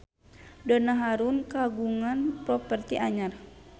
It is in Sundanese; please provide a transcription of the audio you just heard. Donna Harun kagungan properti anyar